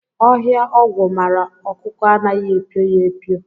Ọhịa ogwu mara ọkụkọ anaghị epio ya epio